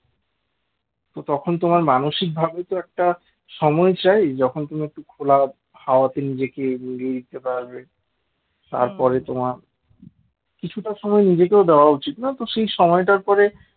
তো তখন তোমার মানসিকভাবেই তো একটা সময় চাই যখন তুমি একটু খোলা হাওয়াতে নিজেকে উড়িয়ে দিতে পারবে তারপরে তোমার কিছুটা সময় নিজেকেও দেওয়া উচিত সেই সময়টার পরে